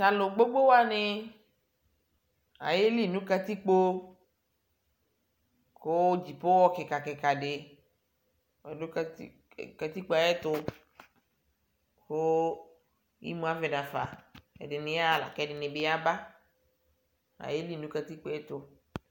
talʋ gbogbo wani ayeli nʋkatikpo kʋ ava kʋtɛ kikaɖi oɖʋ Kati katikpoe ayɛtʋ kʋ imʋavɛ naƒa ɛɖiniyaha la kɛɖi yaba ayeli nʋ katikpoetʋ